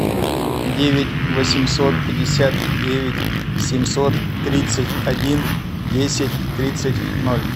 девять восемьсот пятьдесят девять семьсот тридцать один десять тридцать ноль